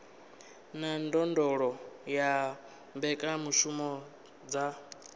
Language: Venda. na ndondolo ya mbekanyamushumo dza